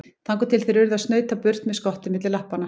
Þangað til þeir urðu að snauta burt með skottið milli lappanna.